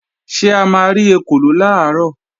Ṣé a ma rí ekòló làárọ̀?